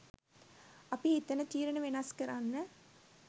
අපි හිතන තීරණ වෙනස් කරන්න